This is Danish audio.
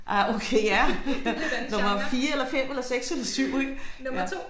Ej okay ja nummer 4 eller 5 eller 6 eller 7 ik ja